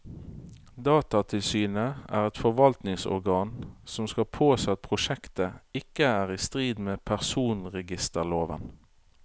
Datatilsynet er et forvaltningsorgan som skal påse at prosjektet ikke er i strid med personregisterloven.